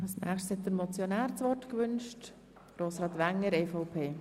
Der Motionär wünscht das Wort.